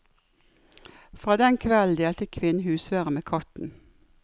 Fra den kvelden delte kvinnen husvære med katten.